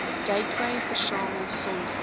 gateway versamel sonder